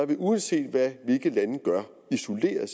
det uanset hvad hvilke lande gør isoleret